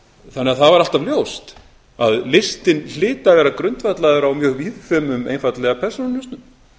það var alltaf ljóst að listinn hlyti að vera grundvallaður á mjög að einfaldlega persónunjósnum